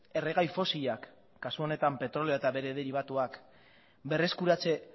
erregai fosilak kasu honetan petrolioa eta bere deribatuak berreskuratze